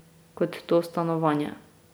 Kot to stanovanje.